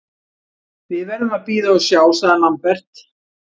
Við verðum að bíða og sjá, sagði Lambert.